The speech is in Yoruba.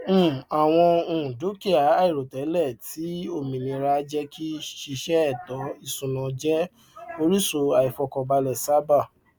um àwọn um dukia àìròtẹlẹ ti òmìnira jẹ kí ṣíṣe ètò ìṣúná jẹ orísun àìfọkànbalẹ sábà